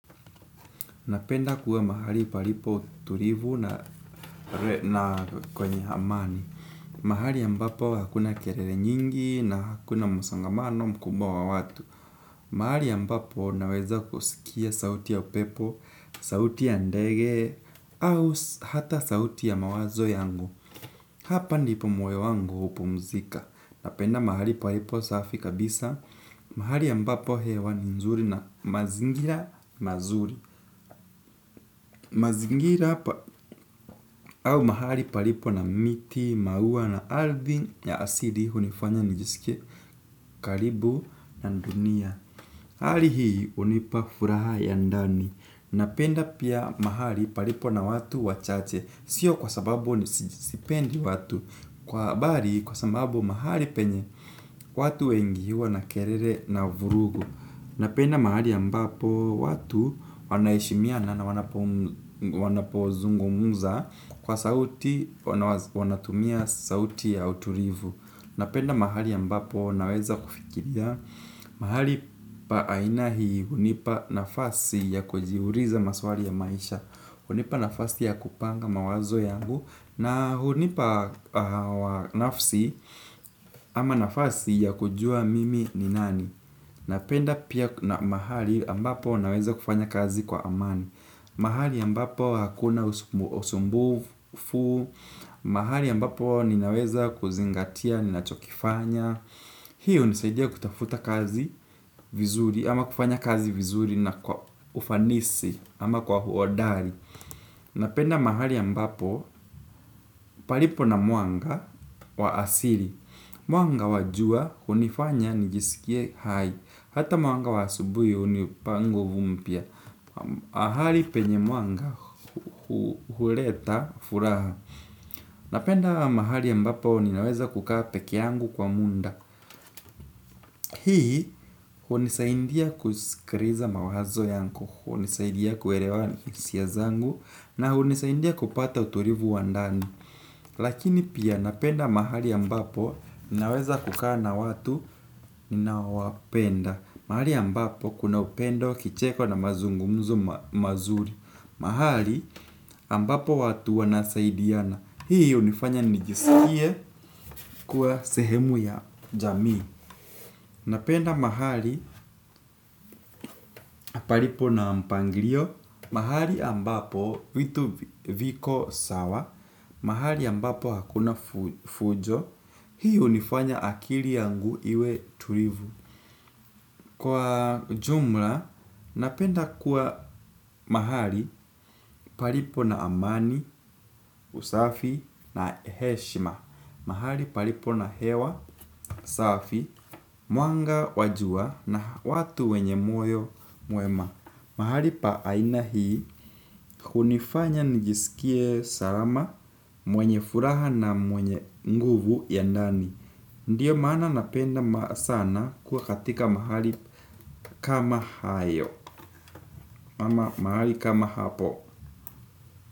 Napenda kuwa mahali palipo tulivu na na kwenye amani. Mahali ambapo hakuna kelele nyingi na hakuna msongamano mkubwa wa watu mahali ambapo naweza kusikia sauti ya upepo, sauti ya ndege au hata sauti ya mawazo yangu. Hapa ndipo moyo wangu hupumzika. Napenda mahali palipo safi kabisa. Mahali ambapo hewa ni nzuri na mazingira mazuri. Mazingira au mahali palipo na miti, maua na ardhi ya asili hunifanya nijisike karibu na dunia. Hali hii hunipa furaha ya ndani. Napenda pia mahali palipo na watu wachache. Sio kwa sababu sipendi watu kwa bali kwa sababu mahali penye watu wengi huwa na kelele na vurugu. Napenda mahali ambapo watu wana heshimaiana wanapozungmza kwa sauti wanatumia sauti ya utulivu. Napenda mahali ambapo naweza kufikiria mahali pa aina hii hunipa nafasi ya kujiuliza maswali ya maisha. Hunipa nafasi ya kupanga mawazo yangu na hunipa nafsi ama nafasi ya kujua mimi ni nani. Napenda pia na mahali ambapo naweza kufanya kazi kwa amani. Mahali ambapo hakuna usumbufu mahali ambapo ninaweza kuzingatia, ninachokifanya hii hunisaidia kutafuta kazi vizuri. Ama kufanya kazi vizuri na kwa ufanisi ama kwa uhodari napenda mahali ambapo palipo na mwanga wa asili. Mwanga wa jua hunifanya nijisikie hai. Hata mwanga wa asubuhi hunipa nguvu mpya mahali penye mwanga huleta furaha. Napenda mahali ambapo ninaweza kukaa peke yangu kwa muda. Hii, hunisaidia kusikiliza mawazo yangu. Hunisaindia kuelewa hisia zangu. Na hunisaindia kupata utulivu wa ndani. Lakini pia napenda mahali ambapo ninaweza kukaa na watu ninawapenda. Mahali ambapo kuna upendo kicheko na mazungumzo mazuri mahali ambapo watu wanasaidiana hii hunifanya nijisikie kuwa sehemu ya jamii. Napenda mahali palipo na mpangilio. Mahali ambapo vitu viko sawa mahali ambapo hakuna fujo hii hunifanya akili yangu iwe tulivu. Kwa ujumla, napenda kuwa mahali palipo na amani, usafi na heshima. Mahali palipo na hewa, usafi, mwanga, wa jua na watu wenye moyo, mwema mahali pa aina hii, hunifanya nijisikie salama mwenye furaha na mwenye nguvu ya ndani. Ndiyo maana napenda sana kuwa katika mahali kama hayo mahali kama hapo.